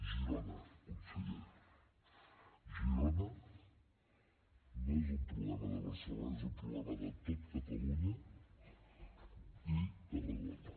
girona conseller girona no és un problema de barcelona és un problema de tot catalunya i tarragona